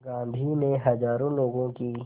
गांधी ने हज़ारों लोगों की